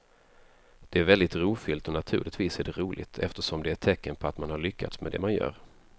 Det är väldigt ärofyllt och naturligtvis är det roligt eftersom det är ett tecken på att man har lyckats med det man gör.